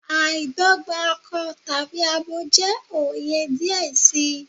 Aidogba akọ tabi abo jẹ oyè diẹ sii